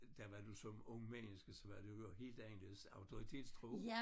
Der var du som ungt menneske så var du jo også helt anderledes autoritetstro